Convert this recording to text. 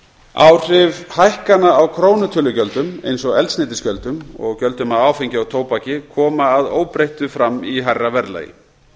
áhrif hækkana á krónutölugjöldum eins og eldsneytisgjöldum og gjöldum af áfengi og tóbaki koma að óbreyttu fram í hærra verðlagi